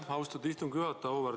Aitäh, austatud istungi juhataja!